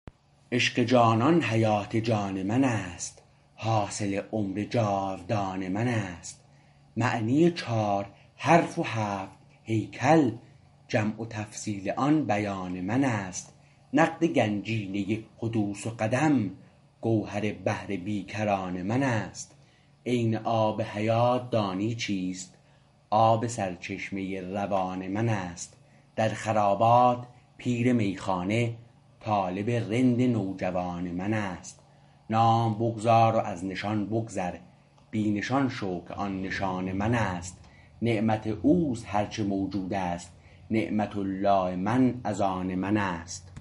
عشق جانان حیات جان من است حاصل عمر جاودان من است معنی چار حرف و هفت هیکل جمع و تفصیل آن بیان من است نقد گنجینه حدوث و قدم گوهر بحر بیکران من است عین آب حیات دانی چیست آب سرچشمه روان من است در خرابات پیر میخانه طالب رند نوجوان من است نام بگذار و از نشان بگذر بی نشان شو که آن نشان من است نعمت اوست هر چه موجود است نعمة الله من از آن من است